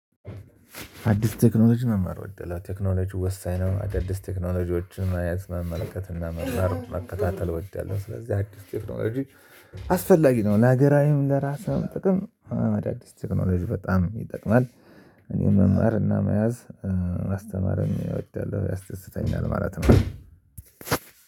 አዲስ ቴክኖሎጂ መማር እወዳለሁ። ቴክኖሎጂ ወሳኝ ነው። አዳዲስ ቴክኖሎጂዎችን መያዝ መመልከት እና መርማር መከታተል ወደያለሁ። ስለዚህ አዲስ ቴክኖሎጂ አስፈላጊ ነው ለሀገራዊም ለራስም ጥቅም አዲስ ቴክኖሎጂ በጣም ይጠቅማል። አስተማሪውን እወዳለሁ ያስደስተኛ ማለት ነው